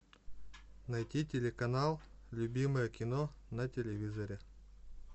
найти телеканал любимое кино на телевизоре